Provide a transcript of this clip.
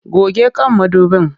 Goge kan mudubin!